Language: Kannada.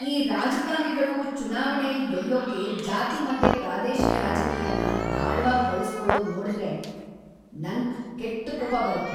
ಈ ರಾಜಕಾರಣಿಗಳು ಚುನಾವಣೆಲ್ ಗೆಲ್ಲೋಕೆ ಜಾತಿ ಮತ್ತೆ ಪ್ರಾದೇಶಿಕ ರಾಜಕೀಯನ ದಾಳವಾಗ್ ಬಳ್ಸ್‌ಕೊಳೋದ್‌ ನೋಡ್ದ್ರೆ ನಂಗ್‌ ಕೆಟ್ಟ್‌ ಕೋಪ ಬರತ್ತೆ.